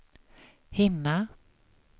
hinna